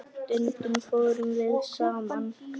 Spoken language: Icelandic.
Stundum fórum við saman.